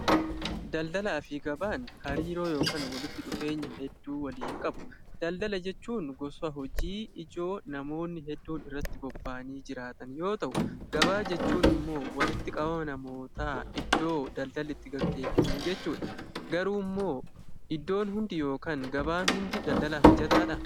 Daldalaa fi Gabaan hariiroo yookiin walitti dhufeenya hedduu waliin qabu. Daldala jechuun gosa hojii ijoo namoonni hedduun irratti bobba'anii jiraatan yoo ta'u, gabaa jechuun immoo walitti qabama namoota bakka daldalli itti gaggeeffamu jechuudha. Garuu immoo bakki daldalaa hundi daldalaaf mijataadha?